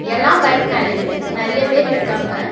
எல்லா பைக் மேலயு நறைய பேர் இருக்காங்க.